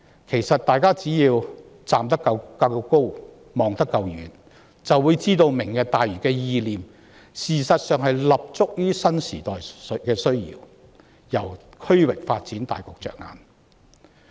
其實大家只要站得夠高、望得夠遠，便會知道"明日大嶼"的意念，事實上是立足於新時代的需要，從區域發展大局着眼。